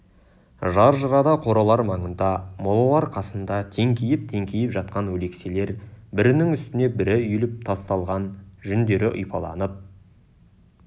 жар жырада қоралар маңында молалар қасында теңкиіп-теңкиіп жатқан өлекселер бірінің үстіне бірі үйіліп тасталған жүндері ұйпаланып